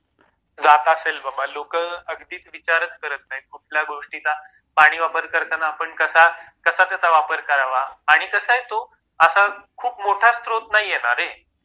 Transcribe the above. जात असेल बाबा लोक अगदीच विचारच करत नाहीत कुठल्या गोष्टीचा पाणी वापर करताना आपण कसा कसा वापर त्याचा करावा आणि कसंय तो असा खूप मोठा स्त्रोत नाहीये ना रे